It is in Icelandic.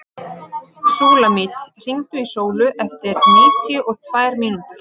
Súlamít, hringdu í Sólu eftir níutíu og tvær mínútur.